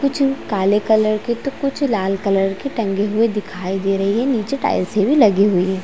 कुछ काले कलर के तो कुछ लाल कलर के टंगे हुए दिखाई दे रहे है नीचे टाइल्से भी लगी हुई है।